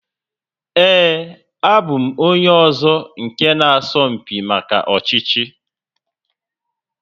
Ee, abụ m onye ọzọ nke na asọ mpi maka ọchịchị